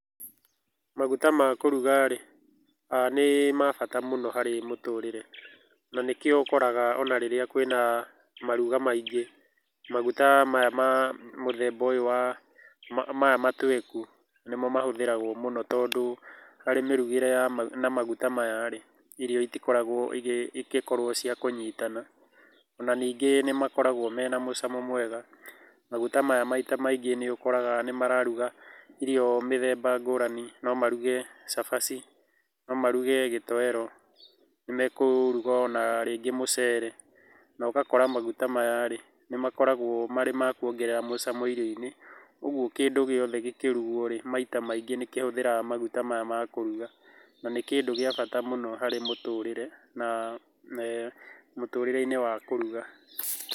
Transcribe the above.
Maguta ma kũruga rĩ, ni ma bata mũno harĩ mũtũrĩre. Na nĩkĩo ũkoraga ona rĩrĩa kwĩna maruga maingĩ, maguta maya ma mũthemba ũyũ wa, maya matweku nĩmo mahũthĩragwo mũno tondũ harĩ mĩrugĩre na maguta maya rĩ, irio itikoragwo igĩkorwo cia kũnyitana. Ona ningĩ nĩ makoragwo mena mucamo mwega. Maguta maya maita maingĩ nĩ ukoraga nĩ mararuga iro mĩthemba ngũrani. No maruge cabaci, no maruge gĩtoero, nĩ mekũruga ona rĩngĩ mucere. Na ũgakora maguta maya rĩ, nĩ makoragwo marĩ ma kũongerera mucamo irio-inĩ. Ũguo kĩndũ gĩothe gĩkĩrugwo rĩ, maita maingĩ nĩ kĩhũthĩraga maguta maya ma kũruga. Na nĩ kĩndũ gĩa bata mũno harĩ mũtũrĩre na mũtũrĩre-inĩ wa kũruga.